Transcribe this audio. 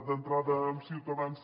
d’entrada amb ciutadans